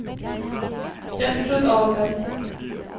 Gertrud Ahlberg